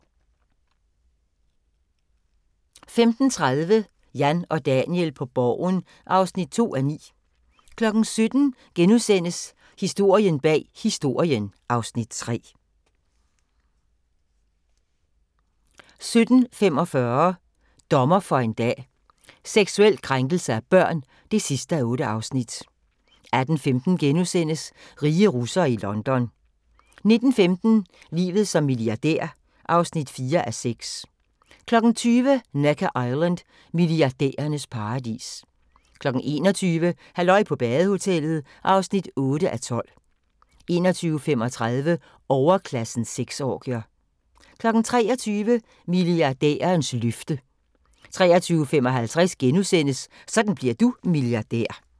15:30: Jan og Daniel på Borgen (2:9) 17:00: Historien bag Historien (Afs. 3)* 17:45: Dommer for en dag: Seksuel krænkelse af børn (8:8) 18:15: Rige russere i London * 19:15: Livet som milliardær (4:6) 20:00: Necker Island: Milliardærernes paradis 21:00: Halløj på badehotellet (8:12) 21:35: Overklassens sexorgier 23:00: Milliardærernes løfte 23:55: Sådan bliver du milliardær *